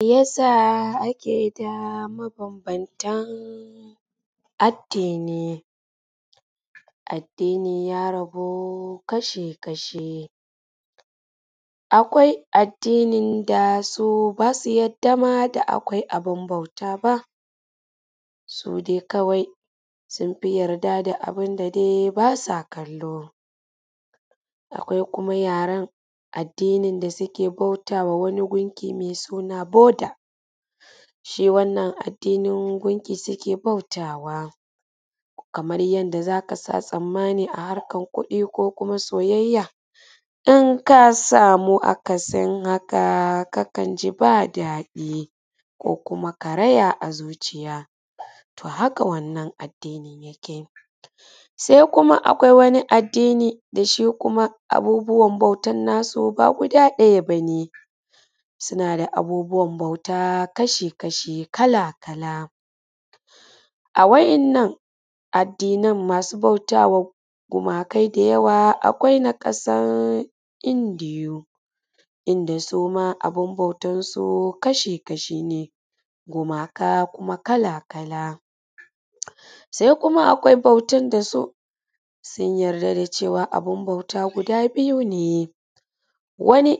Me yasa ake da mabanbantan addini? Addini ya rabu kasha-kashi, akwai addinin da su ba ma su yarda da abun bauta ba, su dai kawai sun fi yarda da abun da dai kawai ba sa kallo. Akwai kuma yaren addinin da su ke bauta ma wani gunki me suna botalshi, wannan adinin gunki suke bautawa kamar yadda za ka sha tsammani a harkan kuɗi ko kuma soyayya nan ka samu akasin haka, kakan ji ba daɗi ko kuma karaya a zuciya. To, haka wannan addini yake se kuma akwai wani addini da su kuma abubbuwan bautansu ba guda ɗaya ba ne suna da abubuwan bauta kasha-kashi, kala-kala a wannan addinan masu bauta wa gumakai da yawa. Akwai na ƙasan Indiyu inda suma abun bautansu kasha-kashi ne gumaka kuma kala-kala, se kuma akwai bautan da su sun yarda da cewa abun bauta guda biyu ne, wani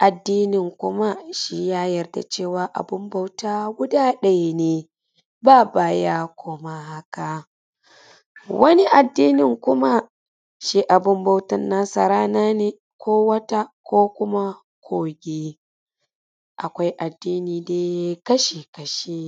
addinin kuma ya yarda da cewa abun bauta guda ɗaya ne, ba baya koma haka wani addinin kuma shi abun bautan nasa rana ne ko wata ko kuma kogi, akwai addini dai kasha-kashi.